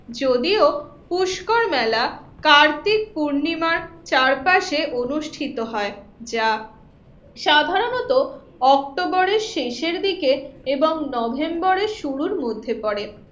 যদিও পুষ্কর মেলা কার্তিক পূর্ণিমার চারপাশে অনুষ্ঠিত হয় যা সাধারণত অক্টোবরের শেষের দিকে এবং নভেম্বরের শুরুর মধ্যে পড়ে